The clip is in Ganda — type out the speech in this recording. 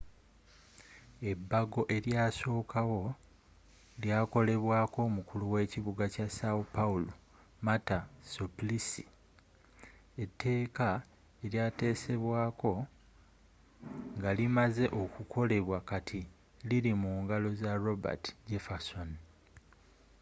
ebago eryasookawo lyakolebwaako omukulu w’ekibuga kya são paulo marta suplicy. eteeka elyatesesbwaako ngalimazze okukolebwa kati lili mu ngalo za roberto jefferson